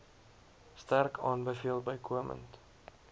sterk aanbeveel bykomend